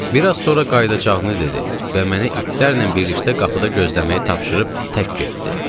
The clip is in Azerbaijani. Bir az sonra qayıdacağını dedi və mənə itlərlə birlikdə qapıda gözləməyi tapşırıb tək getdi.